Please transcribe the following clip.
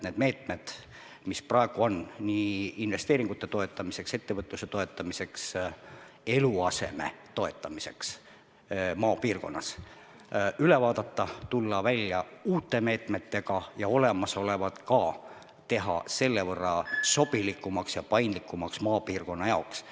Need meetmed, mis praegu on investeeringute toetamiseks, ettevõtluse toetamiseks, eluaseme toetamiseks maapiirkonnas, tuleb üle vaadata, tulla välja uute meetmetega ja teha ka olemasolevad selle võrra sobilikumaks ja maapiirkonna jaoks paindlikumaks.